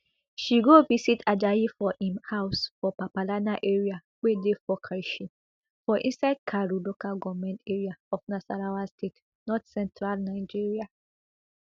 she go visit ajayi for im house for papalana area wey dey for karshi for inside karu local goment area of nasarawa state northcentral nigeria